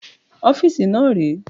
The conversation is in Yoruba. ọ́fíìsì náà rèé